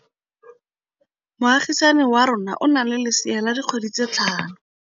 Moagisane wa rona o na le lesea la dikgwedi tse tlhano.